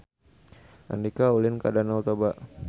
Andika ulin ka Danau Toba